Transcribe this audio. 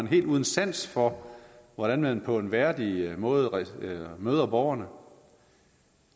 helt uden sans for hvordan man på en værdig måde møder borgerne